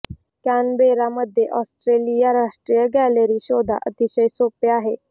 Canberra मध्ये Australia राष्ट्रीय gallery शोधा अतिशय सोपे आहे